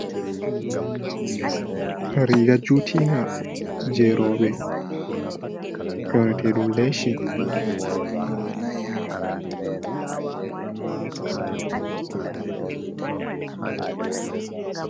Riga juti nga je robe yonatedun leshi.